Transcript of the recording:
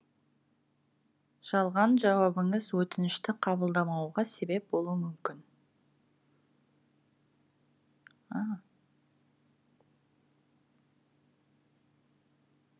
жалған жауабыңыз өтінішті қабылдамауға себеп болуы мүмкін